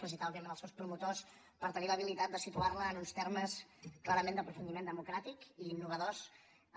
felicitar òbviament els seus promotors per tenir l’habilitat de situarla en uns termes clarament d’aprofundiment democràtic i innovador